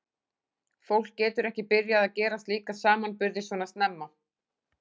Fólk getur ekki byrjað að gera slíka samanburði svona snemma.